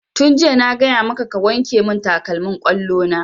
Tun jiya na gaya maka ka wanke mun takalmin ƙwallo na!